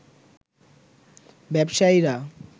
ব্যবসায়ীরা